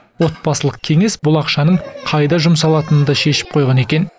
отбасылық кеңес бұл ақшаның қайда жұмсалатынын да шешіп қойған екен